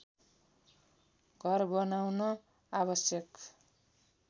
घर बनाउन आवश्यक